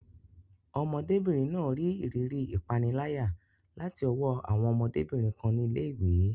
Ọmọdébìnrin náà rí ìrírí ìpániláyà láti ọwọ́ àwọn ọmọdébìnrin kan ní ilé ìwé.